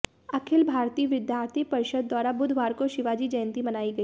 अखिल भारतीय विद्यार्थी परिषद द्वारा बुधवार को शिवाजी जयंती मनाई गई